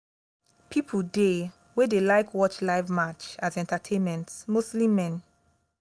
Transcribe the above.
pipo dey wey dey like watch live match as entertainment mostly men